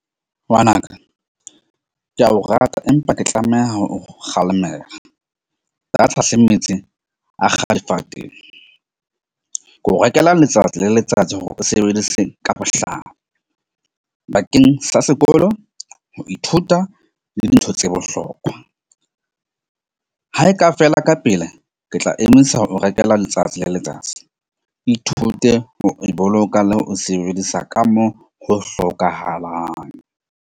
Ngwanaka ke a o rata, empa ke tlameha o kgalemela data difateng, ke o rekela letsatsi le letsatsi hore o sebedise ka bakeng sa sekolo. Ho ithuta le dintho tse bohlokwa ha e ka fela ka pele, ke tla emisa ho rekela letsatsi le letsatsi ithute ho e boloka le ho sebedisa ka mo ho hlokahalang.